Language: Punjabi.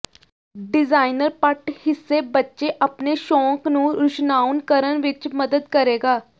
ਡਿਜ਼ਾਈਨਰ ਪਟ ਹਿੱਸੇ ਬੱਚੇ ਆਪਣੇ ਸ਼ੌਕ ਨੂੰ ਰੁਸ਼ਨਾਉਣ ਕਰਨ ਵਿੱਚ ਮਦਦ ਕਰੇਗਾ